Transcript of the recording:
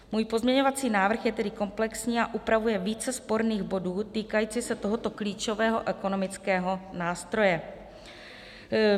Můj pozměňovací návrh je tedy komplexní a upravuje více sporných bodů týkajících se tohoto klíčového ekonomického nástroje.